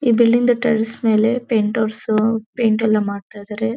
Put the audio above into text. ಈ ಬಿಲ್ಡಿಂಗ್ದು ಟೆರೇಸ್ ಮೇಲೆ ಪೈಂಟರ್ಸು ಪೈಂಟ್ ಎಲ್ಲ ಮಾಡ್ತಾಯಿದಾರೆ.